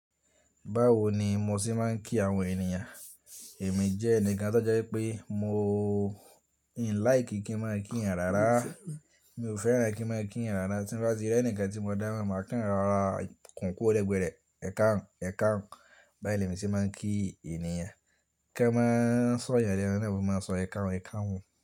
Báwo ni mo ti máa ń kí àwọn ènìyàn? Èmi jẹ́ ẹnìkan tó jẹ́ pé mo n like kí n máa kí ènìyàn rárá. Mi ò fẹ́ràn kí n máa kí ènìyàn rárá, tí ń bá ti rí ẹni kan tí mo dámo, màá kan rárá, kun kú ro legbẹrẹ, ẹ̀kaun ẹ̀kaun. Báyìí ni èmi se máa ń kí ènìyàn. Kí ẹ máa sọ̀yàn lẹ́nu naa, mo maa sọ ẹ̀kaun ẹ̀kaun.